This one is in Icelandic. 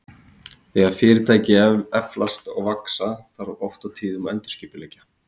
Þegar fyrirtæki eflast og vaxa, þarf oft og tíðum að endurskipuleggja.